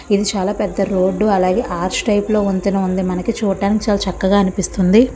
ఇది చాలా పెద్ద రోడ్డు . అలాగే ఆర్చ్ టైప్ లో వంతెన ఉంది. నాకి చూడ్డానికి చాలా చక్కగా అనిపిస్తుంది.